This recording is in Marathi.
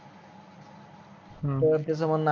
हो त्याच म्हणन